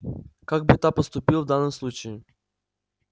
как бы та поступил в данном случае